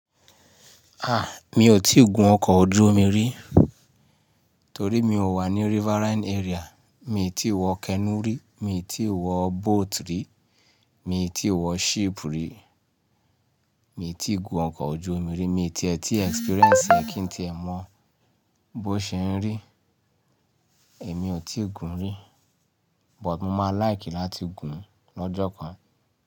A! Mi ò tíì gun ọkọ̀ ojú omi rí torí mi ò wà ní riverine area. Mi ò tí wọ canoe rí, mi ò tí wọ boat rí, mi ò tí wọ ship rí, mi ò tí ì gun ọkọ̀ ojú omi rí, mi ò tíẹ̀ tí experience ẹ kín tí ẹ mọ̀ bó ṣe ń rí, èmi ò tí ì gun rí. But mo má like láti gun lọ́jọ́ kan.